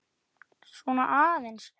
Svona aðeins, já.